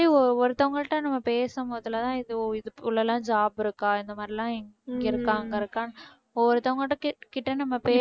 ஒருத்தவங்கள்ட்ட நம்ம பேசும் போது எல்லாம் எதோ job இருக்கா இந்த மாதிரியெல்லாம் இங்க இருக்கா அங்க இருக்கான்னு ஒவ்வொருத்தவங்ககிட்ட